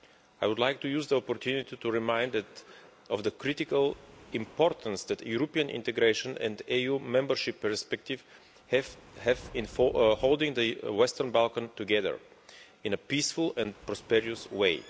I would like to use this opportunity to remind you of the critical importance that European integration and the EU membership perspective have in holding the Western Balkans together in a peaceful and prosperous way.